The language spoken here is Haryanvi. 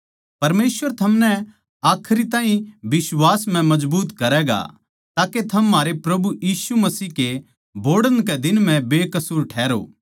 परमेसवर थमनै आखिर ताहीं बिश्वास म्ह मजबूत करैगा के थम म्हारै प्रभु यीशु मसीह के बोहड़ण के दिन म्ह बेकसूर ठहरो